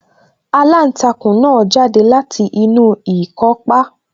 Aláǹtakùn náà jáde láti inú ikọ́pá